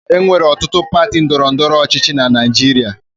E nwere ọtụtụ pati ndọrọ ndọrọ ọchịchị na Naịjirịa.